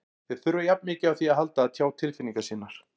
Þeir þurfa jafn mikið á því að halda að tjá tilfinningar sínar.